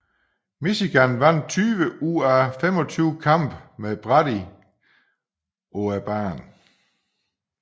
Michigan vandt 20 ud af 25 kampe med Brady på banen